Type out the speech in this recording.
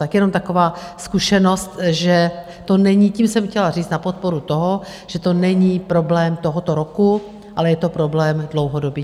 Tak jenom taková zkušenost že to není - tím jsem chtěla říct na podporu toho, že to není problém tohoto roku, ale je to problém dlouhodobý.